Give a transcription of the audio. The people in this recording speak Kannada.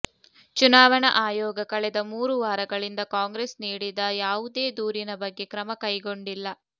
ಚುನಾವಣಾ ಆಯೋಗ ಕಳೆದ ಮೂರು ವಾರಗಳಿಂದ ಕಾಂಗ್ರೆಸ್ ನೀಡಿದ ಯಾವುದೇ ದೂರಿನ ಬಗ್ಗೆ ಕ್ರಮ ಕೈಗೊಂಡಿಲ್ಲ